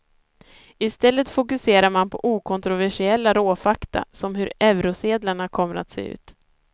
I stället fokuserar man på okontroversiella råfakta som hur eurosedlarna kommer att se ut.